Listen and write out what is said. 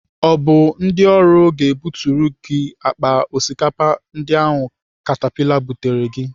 Ọ bụ ndị ọrụ ga-ebuturu akpa osikapa ndị ahụ katapila bulatara gị?